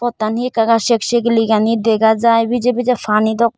pottan hee ekka ekka sek segeligani dega jai bije bije pani dok.